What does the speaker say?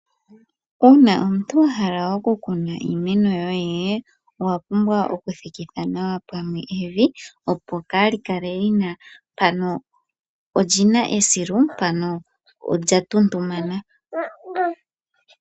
Uuna omuntu wahala oku kuna iimeno yoye owa pumbwa okuthikitha nawa pamwe evi, opo kali kale lyina mpano olyina esilu mpano olya tuntumana.